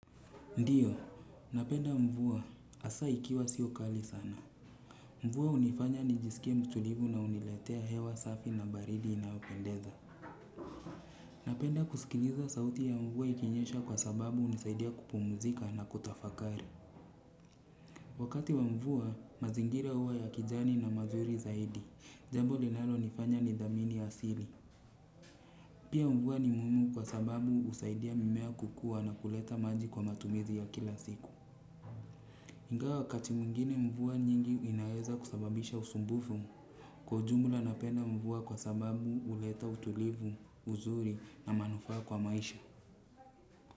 Ndiyo, napenda mvua. Hasa ikiwa sio kali sana. Mvua hunifanya nijisikie mtulivu na huniletea hewa safi na baridi inayopendeza. Napenda kusikiliza sauti ya mvua ikinyesha kwa sababu hunisaidia kupumzika na kutafakari. Wakati wa mvua, mazingira huwa ya kijani na mazuri zaidi. Jambo linalonifanya nithamini asili. Pia mvua ni muhimu kwa sababu husaidia mimea kukua na kuleta maji kwa matumizi ya kila siku. Ingawa wakati mwingine mvua nyingi inaweza kusababisha usumbufu. Kwa ujumla napenda mvua kwa sababu huleta utulivu, uzuri na manufaa kwa maisha.